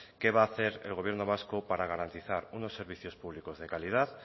qué va a hacer el gobierno vasco para garantizar unos servicios públicos de calidad